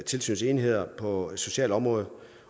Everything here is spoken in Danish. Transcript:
tilsynsenheder på socialområdet